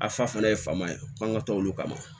A fa fana ye faama ye an ka to olu kama